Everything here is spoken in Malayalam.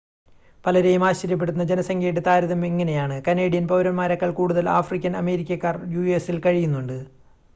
പലരെയും ആശ്ചര്യപ്പെടുത്തുന്ന ജനസംഖ്യയുടെ താരതമ്യം ഇങ്ങനെയാണ് കനേഡിയൻ പൗരന്മാരേക്കാൾ കൂടുതൽ ആഫ്രിക്കൻ അമേരിക്കക്കാർ യുഎസിൽ കഴിയുന്നുണ്ട്